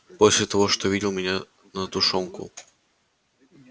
после того что видел меня на тушёнку